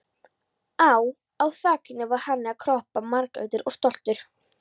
Á á þakinu var hani að kroppa, marglitur og stoltur.